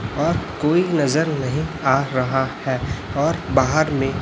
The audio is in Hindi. और कोई नजर नहीं आ रहा है और बाहर में--